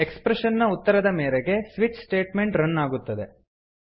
expression ನ ಉತ್ತರದ ಮೇರೆಗೆ ಸ್ವಿಚ್ ಸ್ಟೇಟ್ಮೆಂಟ್ ರನ್ ಆಗುತ್ತದೆ